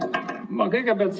Aitäh!